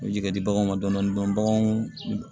U bɛ jigin ka di baganw ma dɔɔni dɔɔni baganw